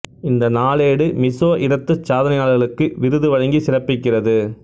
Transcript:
இந்த நாளேடு மிசோ இனத்து சாதனையாளர்களுக்கு விருது வழங்கி சிறப்பிக்கிறது